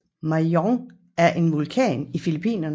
Mayon er en vulkan i Filippinerne